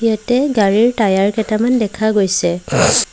ইয়াতে গাড়ীৰ টায়াৰ কেইটামান দেখা গৈছে।